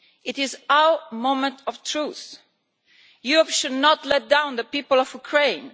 It is our moment of truth. Europe should not let down the people of Ukraine.